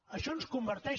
això ens converteix